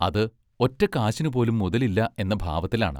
അത് ഒറ്റക്കാശിനുപോലും മുതലില്ല എന്ന ഭാവത്തിലാണ്.